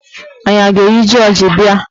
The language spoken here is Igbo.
Anyị a ga-eyi jọọji bịa?